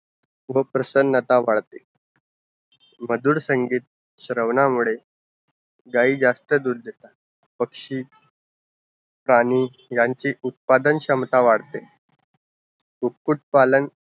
व प्रसन्ता वाढत मधुर संगीत श्रावणा मुळ गाई जास्त दूध देतात, पक्षी रानी यांची उत्पादन क्षमता वाढते कुक्कुट पालन